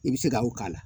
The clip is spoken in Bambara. I bɛ se ka o k'a la